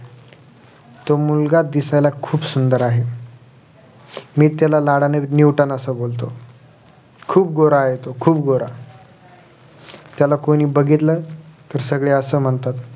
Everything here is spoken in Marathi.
तो मुलगा दिसायला खुप सुंदर आहे मी त्याला लाडाने न्यूटन असं बोलतो खुप गोरा आहे तो खुप गोरा त्याला कोणी बघितलं तर सगळे असं म्हणतात